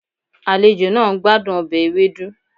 Àlejò náà ń gbádùn ọbẹ̀ ewedu